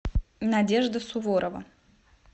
надежда суворова